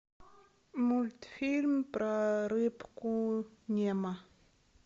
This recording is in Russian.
мультфильм про рыбку немо